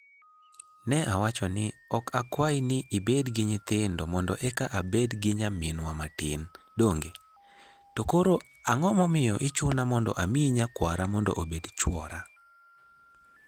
Ne awacho ni, 'Ok akwayi ni ibed gi nyithindo mondo eka abed gi nyaminwa matin, donge? To koro, ang'o momiyo ichuna mondo amiyi nyakwara mondo obed chwora?